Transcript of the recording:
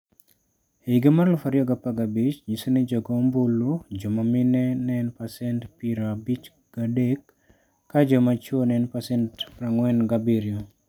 E higa mar 2015, nyiso ni jogo ombulu joma mine ne en pasent 53 ka joma chwo ne en pasent 47.